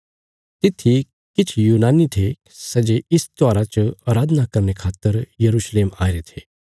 तित्थी किछ यूनानी थे सै जे इस त्योहारा च अराधना करने खातर यरूशलेम आईरे थे